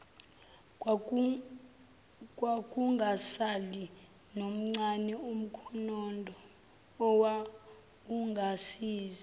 kwakungasali nomncane umkhondoowawungasiza